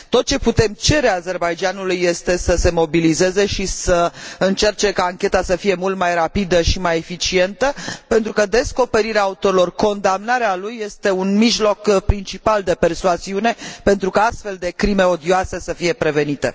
Tot ceea ce putem cere Azerbaidjanului este să se mobilizeze și să încerce ca ancheta să fie mult mai rapidă și mai eficientă, pentru că descoperirea autorului, condamnarea lui, este un mijloc principal de persuasiune pentru ca astfel de crime odioase să fie prevenite.